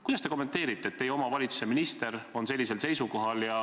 Kuidas te kommenteerite seda, et teie valitsuse minister on sellisel seisukohal?